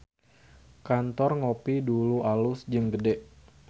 Kantor Ngopie Dulu alus jeung gede